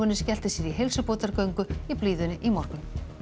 skellti sér í heilsubótargöngu í blíðunni í morgun